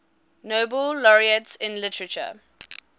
nobel laureates in literature